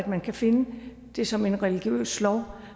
man kan finde det som en religiøs lov